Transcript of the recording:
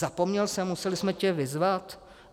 Zapomněl jsi, museli jsme tě vyzvat?